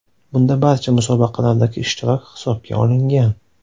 Bunda barcha musobaqalardagi ishtirok hisobga olingan.